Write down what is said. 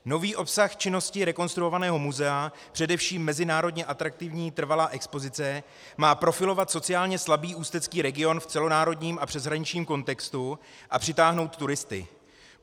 Nový obsah činnosti rekonstruovaného muzea, především mezinárodně atraktivní trvalá expozice, má profilovat sociálně slabý ústecký region v celonárodním a přeshraničním kontextu a přitáhnout turisty.